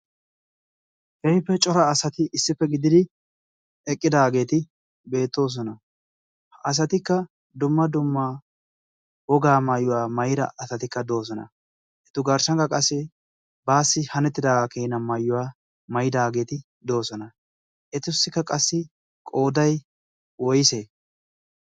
keehippe cora asati issippe gididi eqqidaageeti beettoosona ha asatikka dumma dumma wogaa maayuwaa maira asatikka doosona etu garshshankka qassi baassi hanettidaagaa keena maayuwaa mayidaageeti doosona etussikka qassi qooday owyse